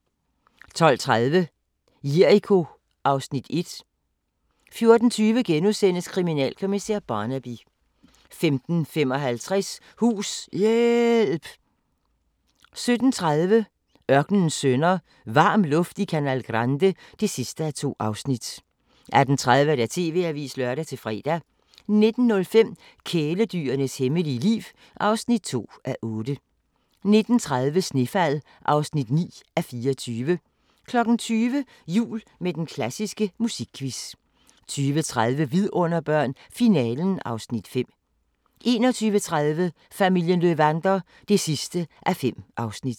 12:30: Jericho (Afs. 1) 14:20: Kriminalkommissær Barnaby * 15:55: Hus-hjæælp 17:30: Ørkenens sønner – Varm luft i Canal Grande (2:2) 18:30: TV-avisen (lør-fre) 19:05: Kæledyrenes hemmelige liv (2:8) 19:30: Snefald (9:24) 20:00: Jul med den klassiske musikquiz 20:30: Vidunderbørn – Finalen (Afs. 5) 21:30: Familien Löwander (5:5)